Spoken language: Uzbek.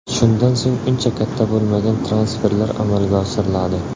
Shundan so‘ng, uncha katta bo‘lmagan transferlar amalga oshiriladi.